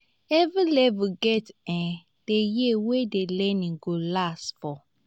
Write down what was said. every level get um the years wey the learning go last for